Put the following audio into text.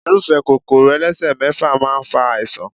Irúfé Kòkòrò elesemefa máa ń fa àìsàn.